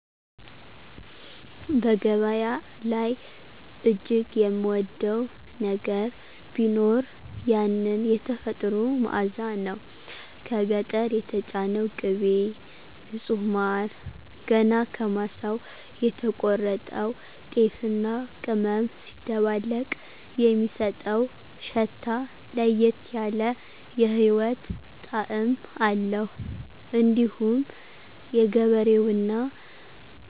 በገበያ ላይ እጅግ የምወደው ነገር ቢኖር ያንን "የተፈጥሮ መዓዛ" ነው። ከገጠር የተጫነው ቅቤ፣ ንጹህ ማር፣ ገና ከማሳው የተቆረጠው ጤፍና ቅመም ሲደባለቅ የሚሰጠው ሽታ ለየት ያለ የህይወት ጣዕም አለው። እንዲሁም የገበሬውና